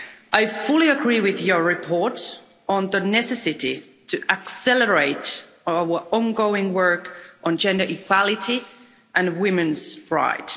I fully agree with your report on the necessity to accelerate our ongoing work on gender equality and women's rights.